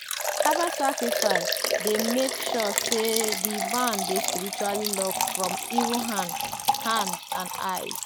harvest dey make sure say di barn dey spiritually locked from evil hand hand and eye.